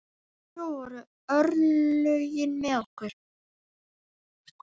Svo voru örlögin með okkur.